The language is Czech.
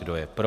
Kdo je pro?